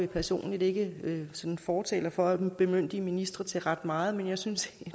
personligt ikke fortaler for at bemyndige ministre til ret meget men jeg synes